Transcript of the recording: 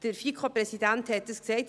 Der FiKo-Präsident sagte dies bereits;